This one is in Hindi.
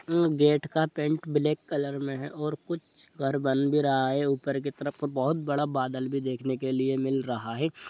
उम गेट का पेंट ब्लैक कलर में हैऔर कुछ घर बन भी रहा है। ऊपर की तरफ तो बहुत बड़ा बादल भी देखने के लिए मिल रहा है।